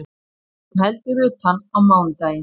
Hún heldur utan á mánudaginn